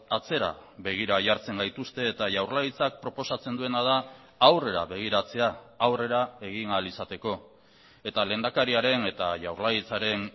atzera begira jartzen gaituzte eta jaurlaritzak proposatzen duena da aurrera begiratzea aurrera egin ahal izateko eta lehendakariaren eta jaurlaritzaren